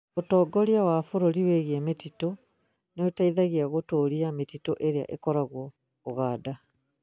Ũtongoria wa bũrũri wĩgiĩ mĩtitũ nĩ ũteithagia gũtũria mĩtitu ĩrĩa ĩkoragwo Uganda